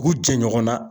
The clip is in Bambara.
U k'u jɛ ɲɔgɔn na